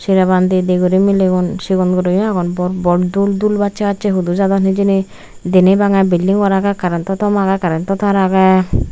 seraban di di guri milegun sigonguro aagon bor bor dul bassey hudu jadon hijeni deney bangey building agey karento tom agey kareno tar agey.